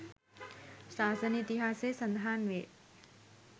ශාසන ඉතිහාසයෙහි සඳහන් වේ.